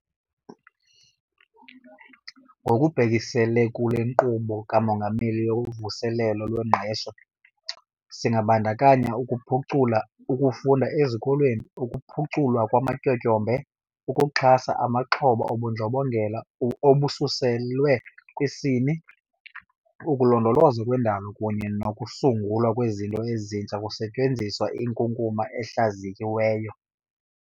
Ngokubhekisele kule Nkqubo kaMongameli yoVuselelo lweNgqesho, singabandakanya ukuphucula ukufunda ezikolweni, ukuphuculwa kwamatyotyombe, ukuxhasa amaxhoba obundlobongela obusekelwe kwisini, ukulondolozwa kwendalo kunye nokusungulwa kwezinto ezintsha kusetyenziswa inkunkuma ehlaziyiweyo.